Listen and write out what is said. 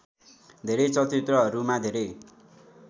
धेरै चलचित्रहरूमा धेरै